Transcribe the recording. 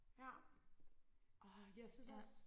ja åh jeg synes også